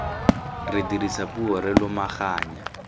re dirisa puo re lomaganya